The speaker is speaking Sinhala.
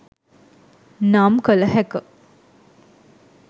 නම් කල හැක